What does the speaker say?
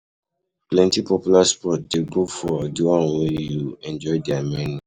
Plenty popular spot de go for di one wey you enjoy their menu